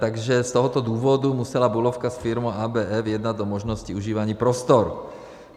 Takže z tohoto důvodu musela Bulovka s firmou ABF jednat o možnosti užívání prostor.